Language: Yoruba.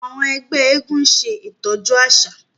àwọn ẹgbẹ éégún ń ṣe itọju aṣa.